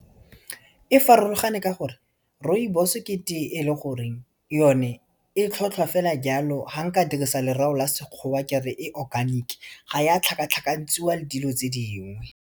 E farologane ka gore rooibos-e ke teye e le gore yone e tlhotlhwa fela jalo, fa nka dirisa lerato la Sekgowa kere e organic, ga ya tlhakatlhakantsiwa le dilo tse dingwe.